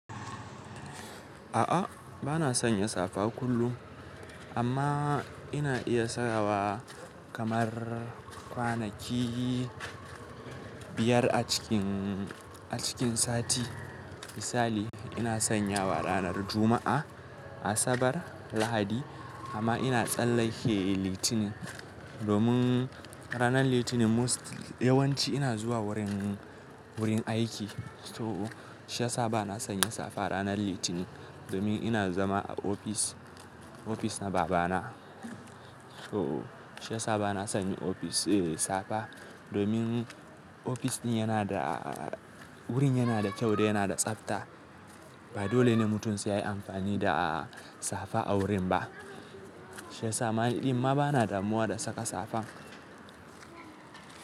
A'a, ba na sanya safa kullum amma ina iya sawa kamar kwanaki biyar a cikin, a cikin sati. Misali ina sanyawa ranar Juma'a, Asabar, Lahadi amma ina tsallake Litinin domin ranar Litinin most yawanci ina zuwa wurin, wurin aiki. So shi ya sa ba na sanya safa ranar Litinin domin ina zama a ofis, ofis na babana. So shi ya sa ba na sanya ofis eh safa domin ofis ɗin yana da wurin yana da kyau da yana da tsafta. Ba dole ne mutum sai yayi amfani da safa a wurin ba. Shi ya sa ma ni ɗimma ba na damuwa da saka safa.